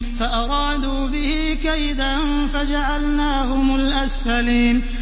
فَأَرَادُوا بِهِ كَيْدًا فَجَعَلْنَاهُمُ الْأَسْفَلِينَ